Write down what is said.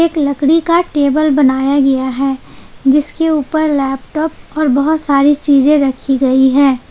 एक लकड़ी का टेबल बनाया गया है जिसके ऊपर लैपटॉप और बहोत सारी चीजें रखी गई है।